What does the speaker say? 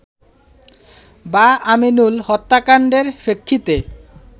বা আমিনুল হত্যাকাণ্ডের প্রেক্ষিতে